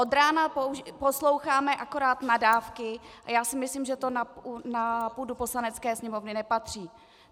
Od rána posloucháme akorát nadávky a já si myslím, že to na půdu Poslanecké sněmovny nepatří.